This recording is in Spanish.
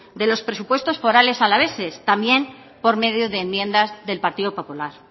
de los presupuestos forales alaveses también por medio de enmiendas del partido popular